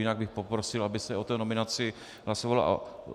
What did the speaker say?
Jinak bych poprosil, aby se o té nominaci hlasovalo.